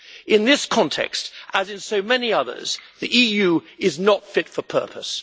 In this context, as in so many others, the EU is not fit for purpose.